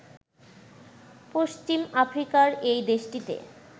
পশ্চিম আফ্রিকার এই দেশটিতে